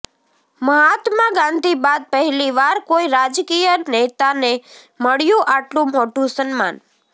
મહાત્મા ગાંધી બાદ પહેલીવાર કોઈ રાજકીય નેતાને મળ્યું અાટલું મોટું સન્માન